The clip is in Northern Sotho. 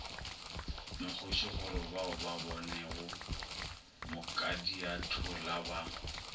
mokgoši gorebao ba bonego mokadiatholaba